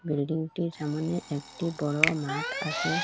বিল্ডিংটির সামোনে একটি বড়ো মাট আসে ।